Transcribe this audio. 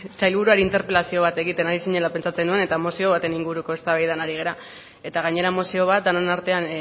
sailburuari interpelazio bat egiten ari zinela pentsatzen nuen eta mozio baten inguruko eztabaidan ari gara eta gainera mozio bat denon artean